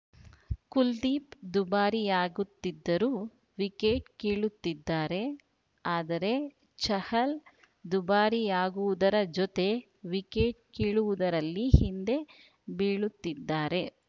ಕುಲ್ದೀಪ್‌ ದುಬಾರಿಯಾಗುತ್ತಿದ್ದರೂ ವಿಕೆಟ್‌ ಕೀಳುತ್ತಿದ್ದಾರೆ ಆದರೆ ಚಹಲ್‌ ದುಬಾರಿಯಾಗುವುದರ ಜತೆ ವಿಕೆಟ್‌ ಕೀಳುವುದರಲ್ಲಿ ಹಿಂದೆ ಬೀಳುತ್ತಿದ್ದಾರೆ